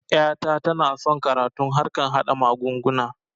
Ƴa ta tana son karatun harkan haɗa mugunguna